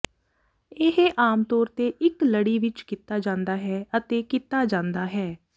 ਇਹ ਆਮ ਤੌਰ ਤੇ ਇੱਕ ਲੜੀ ਵਿੱਚ ਕੀਤਾ ਜਾਂਦਾ ਹੈ ਅਤੇ ਕੀਤਾ ਜਾਂਦਾ ਹੈ